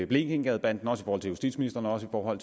blekingegadebanden også over for justitsministeren og over